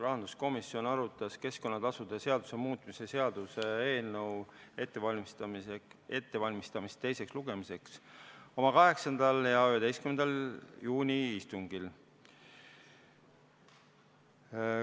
Rahanduskomisjon arutas keskkonnatasude seaduse muutmise seaduse eelnõu ettevalmistamist teiseks lugemiseks oma 8. ja 11. juuni istungil.